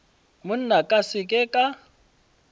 monna ka se ke ka